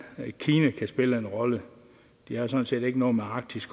kina kan spille en rolle de har sådan set ikke noget med arktis